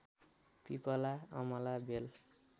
पिपला अमला बेल